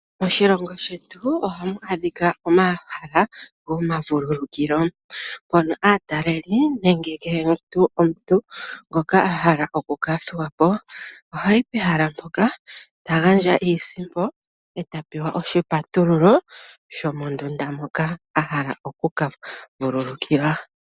Oshilongo shetu ohamu adhika omahala gomavululukilo, mono aatalelipo nenge omuntu ngoka a hala oku ka thuwa po ohayi pehala ndyoka ta ganndja iisimpo eta pewa oshipatululo shomondunda moka a hala oku ka vululukilwa.